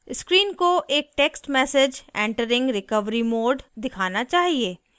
screen को एक text message entering recovery mode दिखाना चाहिए